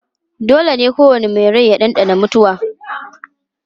Dole ne kowane mai rai ya ɗanɗana mutuwa